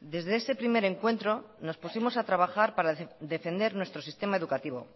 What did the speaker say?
desde ese primer encuentro nos pusimos a trabajar para defender nuestro sistema educativo